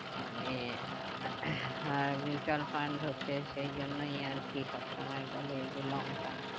মানে আর mutual fund হচ্ছে সেই জন্য আরকি সব সময় বলে যে long term